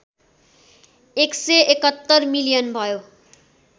१७१ million भयो